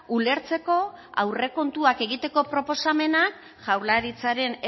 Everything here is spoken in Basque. ulertzeko aurrekontuak egiteko proposamenak jaurlaritzaren